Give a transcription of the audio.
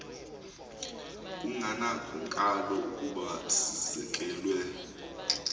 kungandakali ukuba sizekelwe